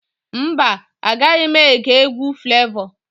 Mba, Anaghị m ege egwu Flevọ.